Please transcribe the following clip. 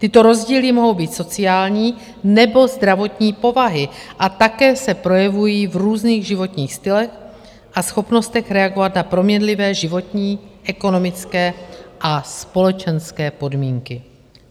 Tyto rozdíly mohou být sociální nebo zdravotní povahy a také se projevují v různých životních stylech a schopnostech reagovat na proměnlivé životní, ekonomické a společenské podmínky.